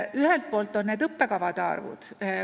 Vaatame ka arve õppekavade kohta.